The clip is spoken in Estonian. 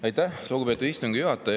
Aitäh, lugupeetud istungi juhataja!